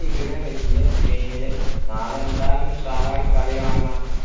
ഇവിടെ വലിയ screen ല് നാളെ എന്തായാലും ഉഷാറായി കളി കാണം